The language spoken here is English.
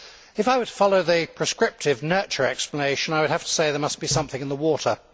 If I were to follow the prescriptive, nurture' explanation, I would have to say there must be something in the water.